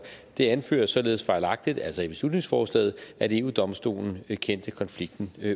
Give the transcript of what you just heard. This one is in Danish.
det anføres således fejlagtigt altså i beslutningsforslaget at eu domstolen kendte konflikten